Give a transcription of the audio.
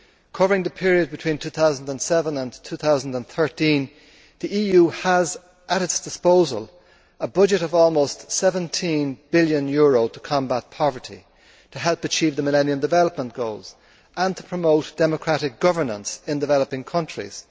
Covering the period between 2007 and 2013, the EU has at its disposal a budget of almost EUR 17 billion to combat poverty, to help achieve the Millennium Development Goals and to promote democratic governance in developing countries.